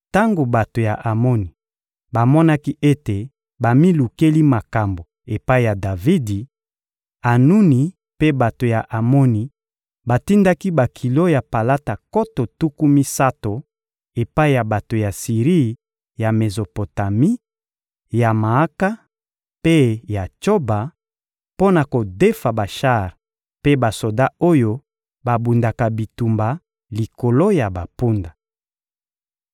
Tango bato ya Amoni bamonaki ete bamilukeli makambo epai ya Davidi, Anuni mpe bato ya Amoni batindaki bakilo ya palata nkoto tuku misato epai ya bato ya Siri ya Mezopotami, ya Maaka mpe ya Tsoba, mpo na kodefa bashar mpe basoda oyo babundaka bitumba likolo ya bampunda.